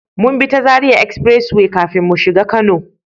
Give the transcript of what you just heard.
Mun bi ta zaria Express way kafin mu shigo kano